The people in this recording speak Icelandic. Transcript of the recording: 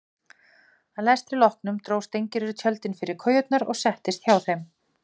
Að lestri loknum dró Steingerður tjöldin fyrir kojurnar og settist hjá þeim.